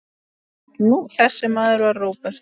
Þessi maður var Róbert.